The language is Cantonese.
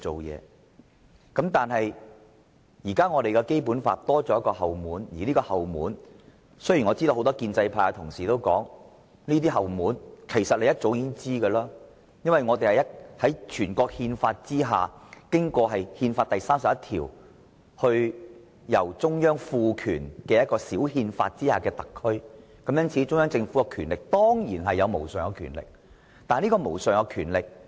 不過，現時的《基本法》多了一道後門，而這道後門......雖然很多建制派議員說道，他們早已意識到會出現有關後門，因為我們是中央政府按照《中華人民共和國憲法》第三十一條賦權制定小憲法而成立的特區，因此中央政府當然擁有無上權力。